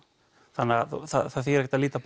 þannig það þýðir ekkert að líta